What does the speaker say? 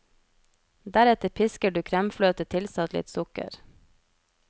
Deretter pisker du kremfløte tilsatt litt sukker.